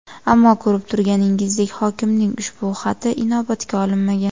Ammo ko‘rib turganingizdek, hokimning ushbu xati inobatga olinmagan.